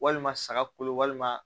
Walima saga kolo walima